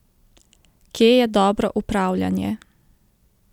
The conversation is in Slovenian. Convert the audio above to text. Kje je dobro upravljanje?